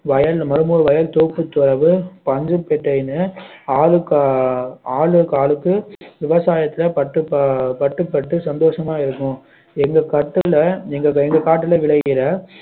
வயல் மரமூர் வயல் தோப்புத்துரவு பஞ்சு பட்டறைனு ஆளுக்~ ஆளுக்கு ஆளுக்கு விவசாயத்தை பட்டு ப~ பட்டு பட்டு சந்தோஷமா இருக்கோம் எங்க கட்டுல எங்க காட்டுல விளைகிற